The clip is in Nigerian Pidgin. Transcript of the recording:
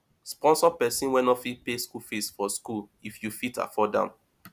sponsor persin wey no fit pay school fees for school if you fit afford am